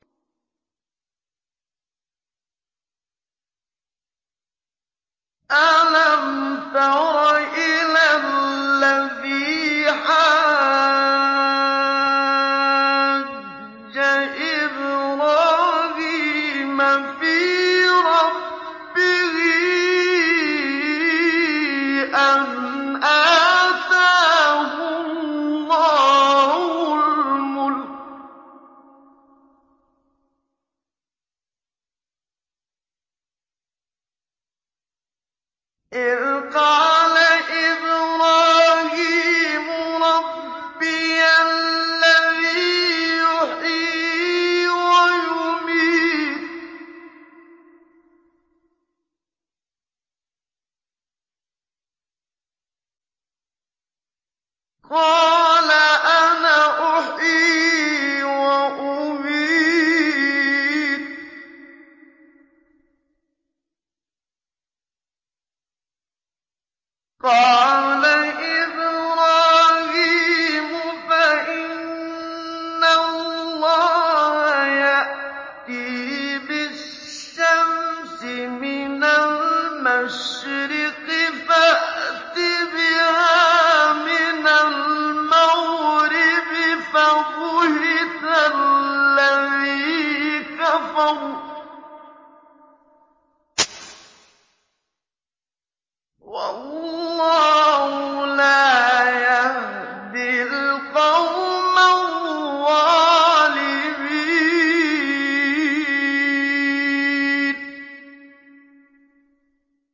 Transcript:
أَلَمْ تَرَ إِلَى الَّذِي حَاجَّ إِبْرَاهِيمَ فِي رَبِّهِ أَنْ آتَاهُ اللَّهُ الْمُلْكَ إِذْ قَالَ إِبْرَاهِيمُ رَبِّيَ الَّذِي يُحْيِي وَيُمِيتُ قَالَ أَنَا أُحْيِي وَأُمِيتُ ۖ قَالَ إِبْرَاهِيمُ فَإِنَّ اللَّهَ يَأْتِي بِالشَّمْسِ مِنَ الْمَشْرِقِ فَأْتِ بِهَا مِنَ الْمَغْرِبِ فَبُهِتَ الَّذِي كَفَرَ ۗ وَاللَّهُ لَا يَهْدِي الْقَوْمَ الظَّالِمِينَ